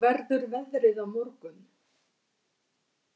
Aurora, hvernig verður veðrið á morgun?